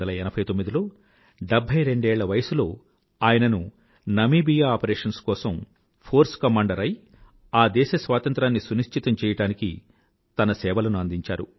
1989 లో 72 ఏళ్ల వయసులో ఆయనను నమీబియా ఆపరేషన్స్ కోసం ఫోర్స్ కమాండర్ అయి ఆ దేశ స్వాతంత్రాన్ని సునిశ్చితం చెయ్యడానికి తన సేవలను అందించారు